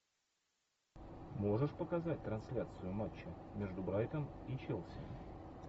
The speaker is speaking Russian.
можешь показать трансляцию матча между брайтон и челси